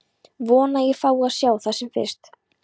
Vona að ég fái að sjá það sem fyrst.